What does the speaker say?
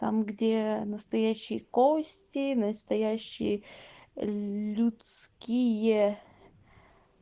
там где настоящие кости настоящий людские